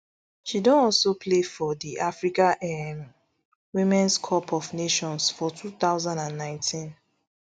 she don also play for di africa um womens cup of nations for two thousand and nineteen